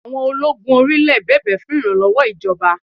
Àwọn ológun orí-ilẹ̀ bẹ̀bẹ̀ fún ìrànlọ́wọ́ ìjọba